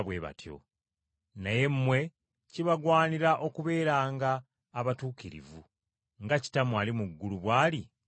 Naye mmwe kibagwanira okubeeranga abatuukirivu nga Kitammwe ali mu ggulu bw’ali Omutuukirivu.”